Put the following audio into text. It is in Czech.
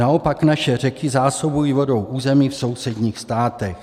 Naopak, naše řeky zásobují vodou území v sousedních státech.